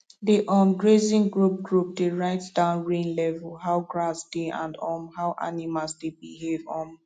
the um grazing group group dey write down rain level how grass dey and um how animals dey behave um